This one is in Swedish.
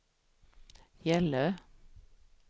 Gällö